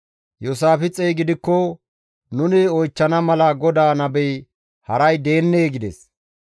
Iyoosaafixey gidikko, «Nuni oychchana mala GODAA nabey haray deennee?» gides.